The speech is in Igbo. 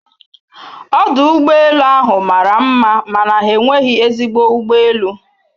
Ọdụ ụgbọ elu ahụ mara mma mana ha enweghị ezigbo ụgbọ elu